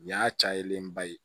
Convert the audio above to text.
Nin y'a cayalenba ye